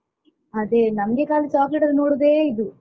ಅದೇ ನಮ್ಗೆ ಖಾಲಿ chocolate ಅನ್ನ ನೋಡುದೇ ಇದು.